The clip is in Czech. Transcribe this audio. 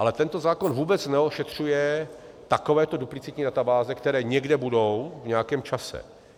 Ale tento zákon vůbec neošetřuje takovéto duplicitní databáze, které někde budou v nějakém čase.